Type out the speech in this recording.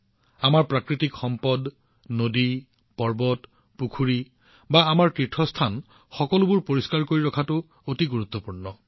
আমাৰ প্ৰাকৃতিক সম্পদেই হওক নদী পৰ্বত পুখুৰী হওক বা আমাৰ তীৰ্থস্থানেই হওক সেইবোৰ পৰিষ্কাৰ কৰি ৰখাটো অতি গুৰুত্বপূৰ্ণ